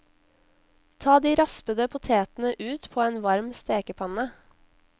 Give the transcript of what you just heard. Ta de raspede potetene ut på en varm stekepanne.